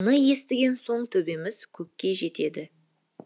оны естіген соң төбеміз көкке жетеді